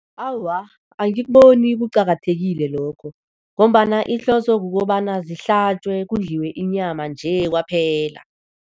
Awa, angikuboni kuqakathekile lokho ngombana ihloso kukobana zihlatjwe kudliwe inyama nje kwaphela.